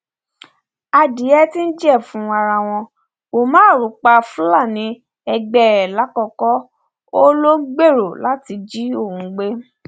adìẹ ti jẹfun ara wọn umar pa fúlàní ẹgbẹ ẹ làkọkọ ó lọ ń gbèrò láti jí òun gbé